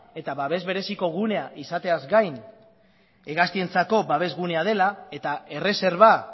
eta babes bereziko gunea izateaz gain hegaztientzako babesgunea dela eta erreserba